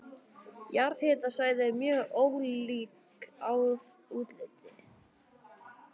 Jarðhitasvæði eru mjög ólík að útliti.